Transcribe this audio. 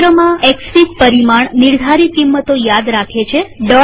એક સત્રમાંએક્સફીગ પરિમાણ નિર્ધારિતપેરામીટર કિંમતો યાદ રાખે છે